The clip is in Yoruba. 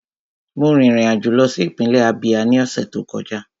Mo rin ìrìn àjò lọ sí ìpínlẹ̀ Ábíá ní ọ̀sẹ̀ tó kọjá